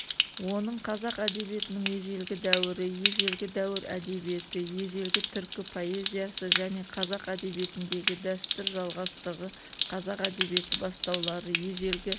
оның қазақ әдебиетінің ежелгі дәуірі ежелгі дәуір әдебиеті ежелгі түркі поэзиясы және қазақ әдебиетіндегі дәстүр жалғастығы қазақ әдебиеті бастаулары ежелгі